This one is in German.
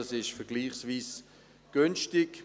Das ist vergleichsweise günstig.